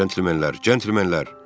Centlmenlər, centlmenlər.